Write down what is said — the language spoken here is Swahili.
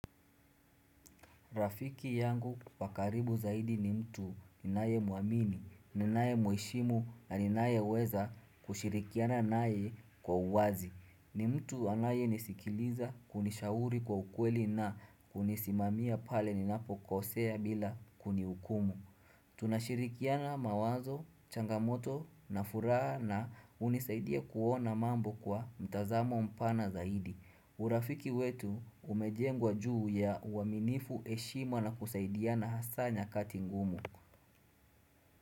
Rafiki yangu wa karibu zaidi ni mtu ninayemwamini, ninaye mheshimu na ninayeweza kushirikiana naye kwa uwazi. Ni mtu anayenisikiliza, hunishauri kwa ukweli na kunisimamia pale ninapokosea bila kunihukumu. Tunashirikiana mawazo, changamoto na furaha na hunisaidia kuona mambo kwa mtazamo mpana zaidi. Urafiki wetu umejengwa juu ya uaminifu, heshima na kusaidiana hasa nyakati ngumu.